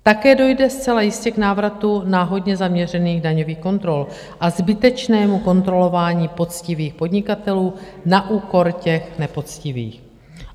Také dojde zcela jistě k návratu náhodně zaměřených daňových kontrol a zbytečnému kontrolování poctivých podnikatelů na úkor těch nepoctivých.